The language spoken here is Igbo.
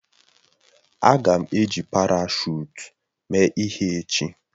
Aga m eji parashụt mee ihe echi